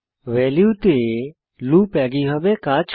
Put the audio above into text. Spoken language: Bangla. ভ্যালুতে লুপ একইভাবে কাজ করে